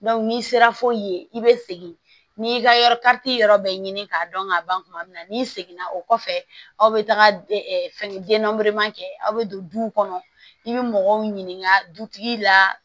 n'i sera fo yen i bɛ segin n'i y'i ka yɔrɔ yɔrɔ bɛɛ ɲini k'a dɔn k'a ban kuma min na n'i seginna o kɔfɛ aw bɛ taga fɛn denma kɛ aw bɛ don du kɔnɔ i bɛ mɔgɔw ɲininka dutigi la